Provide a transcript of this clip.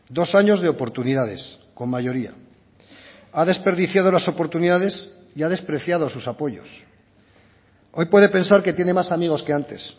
dos años de oportunidades con mayoría ha desperdiciado las oportunidades y ha despreciado sus apoyos hoy puede pensar que tiene más amigos que antes